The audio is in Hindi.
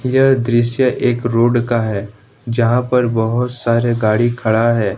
यह दृश्य एक रोड का है जहां पर बहुत सारे गाड़ी खड़ा है।